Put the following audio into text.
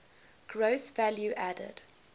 gross value added